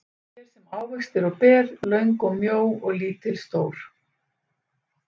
Við erum hér sem ávextir og ber, löng og mjó og lítil stór.